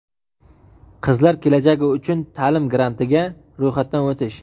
"Qizlar kelajagi uchun" ta’lim grantiga ro‘yxatdan o‘tish.